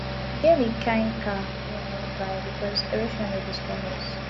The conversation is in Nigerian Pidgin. e get di kain car wey i wan buy because erosion dey disturb us